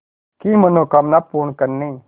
की मनोकामना पूर्ण करने